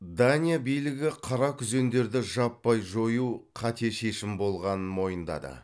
дания билігі қаракүзендерді жаппай жою қате шешім болғанын мойындады